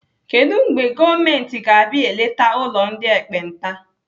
Kedụ mgbe gọọmenti ga-abịa eleta ụlọ ndị ekpenta?